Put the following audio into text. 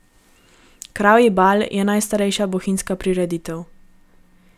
Kravji bal je najstarejša bohinjska prireditev.